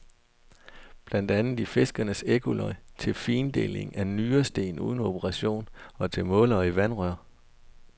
Blandt andet i fiskernes ekkolod, til findeling af nyresten uden operation og til målere i vandrør.